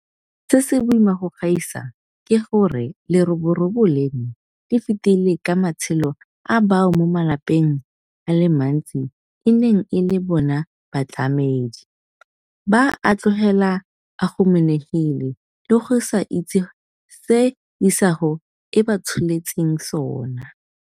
Se se boima go gaisa ke gore leroborobo leno le fetile ka matshelo a bao mo malapeng a le mantsi e neng e le bona batlamedi, ba a tlogela a humanegile le go sa itse se isago e ba tsholetseng sona.